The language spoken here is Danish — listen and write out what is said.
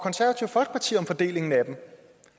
fordelingen af dem